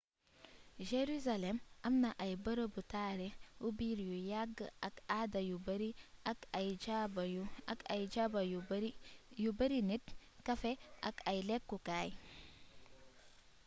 jurusalem amna ay beereebu taarix ùbir yu yagg ak aada yu beeri ak ay jaba yu beeri nit cafés ak ay lékku kaay